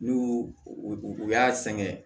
N'u u y'a sɛgɛn